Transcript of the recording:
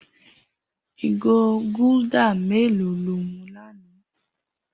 Igó gúldà mèló ló mú lànã?